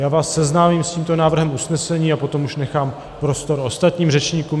Já vás seznámím s tímto návrhem usnesení a potom už nechám prostor ostatním řečníkům.